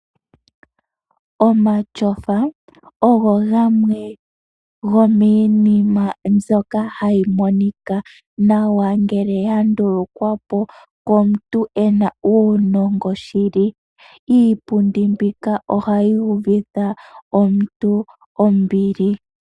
Omatyofa ogo gamwe gomiinima mbyoka hayi monika nawa ngele ya ndulukwa po komuntu ena uunongo woshili. Iipundi mbika ohayi uvitha omuntu ombili.